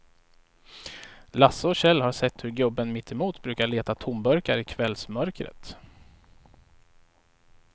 Lasse och Kjell har sett hur gubben mittemot brukar leta tomburkar i kvällsmörkret.